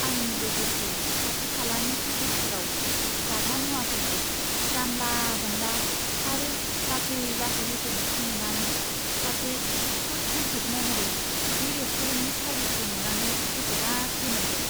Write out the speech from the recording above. आंनिजों लोगोसे खाथि खालानि टेबोलफोराव जाग्रा मुवाफोरखौ जानला मोनला आरो लासै लासै होफैनायखौ नुनानै सासे फुड क्रिटिक महरै बे रेस्टुरेन्टनि सारभिसखौ नुनानै गोसो गाज्रि मोनदों।